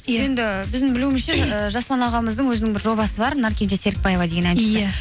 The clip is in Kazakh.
енді біздің білуімізше жасұлан ағамыздың өзінің бір жобасы бар наркенже серкібаева деген